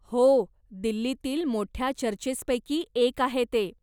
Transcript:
हो, दिल्लीतील मोठ्या चर्चेसपैकी एक आहे ते.